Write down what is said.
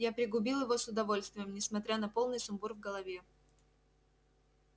я пригубил его с удовольствием несмотря на полный сумбур в голове